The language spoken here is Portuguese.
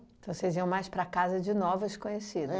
Então, vocês iam mais para casa de novas conhecidas.